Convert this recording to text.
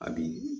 A bi